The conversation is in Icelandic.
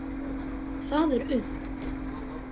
Það er unnt.